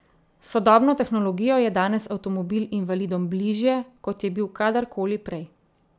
S sodobno tehnologijo je danes avtomobil invalidom bližje, kot je bil kadar koli prej.